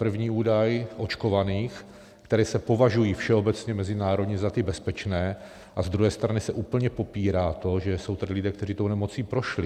První údaj očkovaných, kteří se považují všeobecně mezinárodně za ty bezpečné, a z druhé strany se úplně popírá to, že jsou tady lidé, kteří tou nemocí prošli.